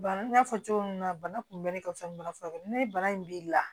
Bana n y'a fɔ cogo min na bana kunbɛ de ka fisa bana furakɛ ni bana in b'i la